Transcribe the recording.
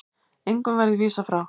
Engum verði vísað frá.